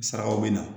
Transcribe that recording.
Sarakaw bɛ na